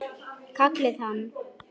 Kallaði hann.